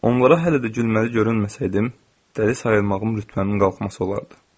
Onlara hələ də gülməli görünməsəydim, dəli sayılmağım rütbəmin qalxması olardı.